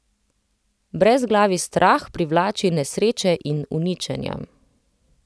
Brezglavi strah privlači nesreče in uničenja.